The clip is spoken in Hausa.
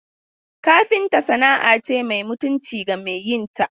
Kafinta sana'a ce mai mutunci ga mai yin ta.